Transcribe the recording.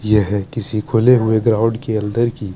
यह किसी खुले हुए ग्राउंड के अन्दर की--